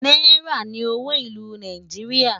náírà ní owó ìlú Nàìjíríà